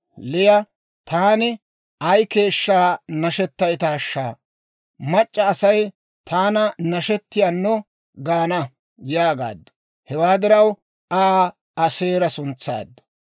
Liya, «Taani ay keeshshaa nashettayttaasha! Mac'c'a Asay taana nashettiyaanno gaana» yaagaaddu. Hewaa diraw Aa Aaseera suntsaaddu.